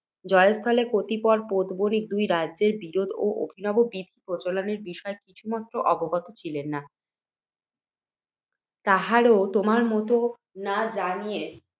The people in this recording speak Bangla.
জয়স্থলের কতিপয় পোতবণিক দুই রাজ্যের বিরোধ ও অভিনব বিধি প্রচলনের বিষয় কিছুমাত্র অবগত ছিল না। তাহারাও, তোমার মত, না জানিয়া